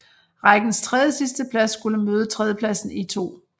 Rækkens tredjesidsteplads skulle møde tredjepladsen i 2